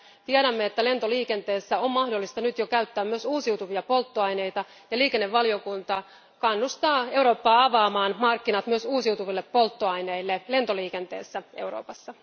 Tiedämme, että lentoliikenteessä on mahdollista nyt jo käyttää myös uusiutuvia polttoaineita, ja liikennevaliokunta kannustaa Eurooppaa avaamaan markkinat myös uusiutuville polttoaineille lentoliikenteessä Euroopassa.